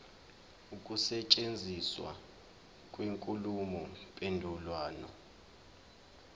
ukusetshenziswa kwenkulumo mpendulwano